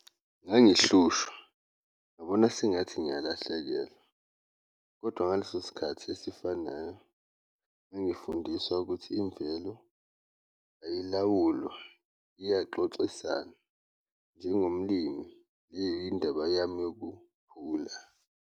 Mengihlushwa ngibona sengathi ngiyalahlekelwa kodwa ngaleso sikhathi esifanayo ngangifundiswa ukuthi imvelo elilawulwa, iyaxoxisana njengomlimi indaba yami yokukhula.